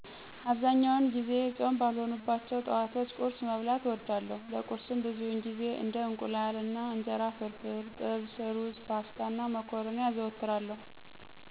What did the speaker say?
አብዛኛውን ጊዜ ፆም ባልሆኑባቸው ጠዋቶች ቁርስ መብላትን እወዳለሁ። ለቁርስም ብዙውን ጊዜ እንደ የእንቁላል አና እንጀራ ፍርፍር፣ ጥብስ፣ ሩዝ፣ ፓስታ፣ እና መኮረኒ አዘወትራለሁ።